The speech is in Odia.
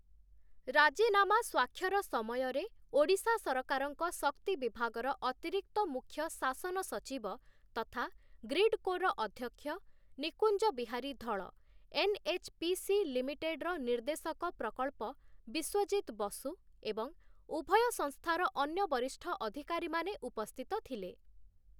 ରାଜିନାମା ସ୍ୱାକ୍ଷର ସମୟରେ ଓଡ଼ିଶା ସରକାରଙ୍କ ଶକ୍ତି ବିଭାଗର ଅତିରିକ୍ତ ମୁଖ୍ୟ ଶାସନ ସଚିବ ତଥା ଗ୍ରିଡ୍‌କୋର ଅଧ୍ୟକ୍ଷ ନିକୁଞ୍ଜ ବିହାରୀ ଧଳ, ଏନ୍‌.ଏଚ୍‌.ପି.ସି. ଲିମିଟେଡ୍‌ର ନିର୍ଦ୍ଦେଶକ ପ୍ରକଳ୍ପ ବିଶ୍ୱଜିତ ବସୁ ଏବଂ ଉଭୟ ସଂସ୍ଥାର ଅନ୍ୟ ବରିଷ୍ଠ ଅଧିକାରୀମାନେ ଉପସ୍ଥିତ ଥିଲେ ।